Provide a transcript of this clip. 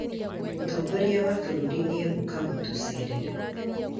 Mũtongoria wa bũrũri nĩ eguka kutucerera